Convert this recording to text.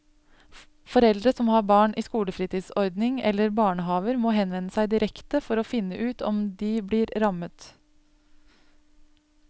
Foreldre som har barn i skolefritidsordning eller barnehaver må henvende seg direkte for å finne ut om de blir rammet.